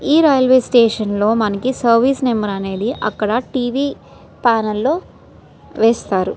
ఈ రైల్వే స్టేషన్లో మనకి సర్వీస్ నంబర్ అనేది అక్కడ టీవీ ప్యానెల్ లో వేస్తారు.